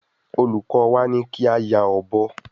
Oluko wa ni ki a ya obo